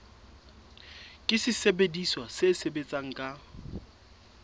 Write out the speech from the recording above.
ke sesebediswa se sebetsang ka